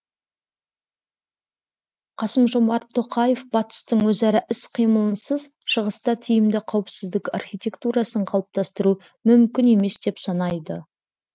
қасым жомарт тоқаев батыстың өзара іс қимылынсыз шығыста тиімді қауіпсіздік архитектурасын қалыптастыру мүмкін емес деп санайды